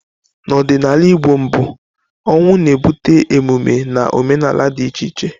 N'ọdịnala Igbo mbụ, ọnwụ na-ebute emume na omenala dị iche iche.